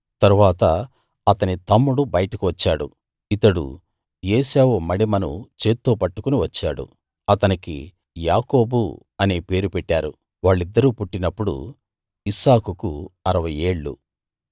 తరువాత అతని తమ్ముడు బయటకు వచ్చాడు ఇతడు ఏశావు మడిమను చేత్తో పట్టుకుని వచ్చాడు అతనికి యాకోబు అనే పేరు పెట్టారు వాళ్ళిద్దరూ పుట్టినప్పుడు ఇస్సాకుకు అరవై ఏళ్ళు